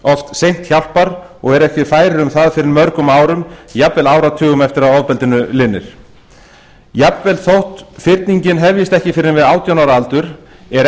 leita sér hjálpar og eru oft ekki færir um það fyrr en mörgum árum eða jafnvel áratugum eftir að ofbeldinu linnir jafnvel þótt fyrningin hefjist ekki fyrr en við átján ára aldur er